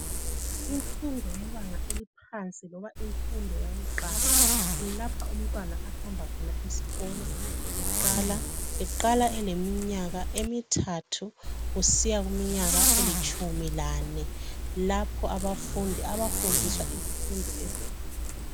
Imfundo yebanga eliphansi loba imfundo yakuqala. Kulapha umntwana afunda khona esikolo eqala. Eqala eleminyaka emithathu kusiya kwelitshumilane. Lapho abafundi abafundiswa izifundo ezehlukeneyo.